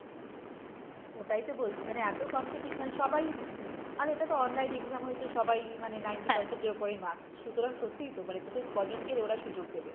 ওটাই তো বলছি মানে এত competition সবাই উম আর এটা তো online exam হয়েছে সবাই মানে ninety percent এর ওপরেই marks সুতরাং সত্যিই তো মানে তোকে ক জনকে ওরা সুযোগ দেবে,